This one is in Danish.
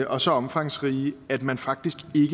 og så omfangsrige at man faktisk